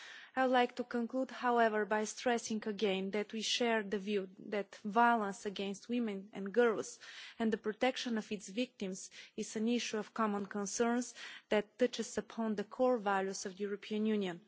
I would like to conclude, however, by stressing again that we share the view that violence against women and girls and the protection of its victims is an issue of common concerns that touches upon the core values of the European Union.